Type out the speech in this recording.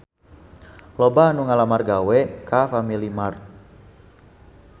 Loba anu ngalamar gawe ka Family Mart